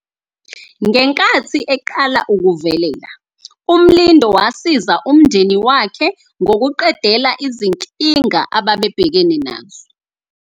Ngenkathi eqala ukuvelela, uMlindo wasiza umndeni wakhe ngokuqedela izinkinga ababebhekene nazo.